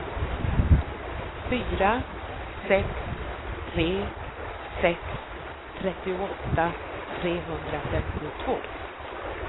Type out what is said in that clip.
fyra sex tre sex trettioåtta trehundrafemtiotvå